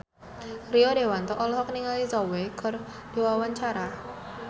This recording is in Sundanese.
Rio Dewanto olohok ningali Zhao Wei keur diwawancara